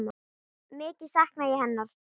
Mikið sakna ég hennar.